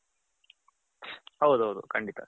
ಹೌದ್ ಹೌದ್ ಖಂಡಿತ.